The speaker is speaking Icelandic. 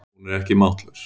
Hún er ekki máttlaus.